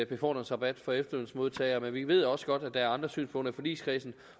befordringsrabat for efterlønsmodtagere men vi ved også godt at der er andre synspunkter i forligskredsen